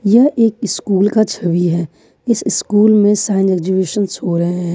यह एक स्कूल का छवि है इस स्कूल में साइंस एग्जिबिशन हो रहे हैं।